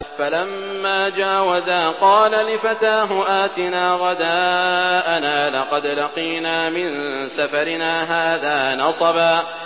فَلَمَّا جَاوَزَا قَالَ لِفَتَاهُ آتِنَا غَدَاءَنَا لَقَدْ لَقِينَا مِن سَفَرِنَا هَٰذَا نَصَبًا